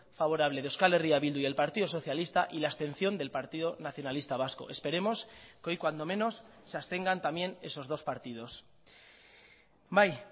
favorable de euskal herria bildu y el partido socialista y la abstención del partido nacionalista vasco esperemos que hoy cuando menos se abstengan también esos dos partidos bai